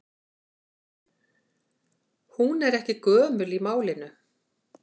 Hún er ekki gömul í málinu.